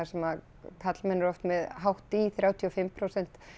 sem að karlmenn eru oft með hátt í þrjátíu og fimm prósent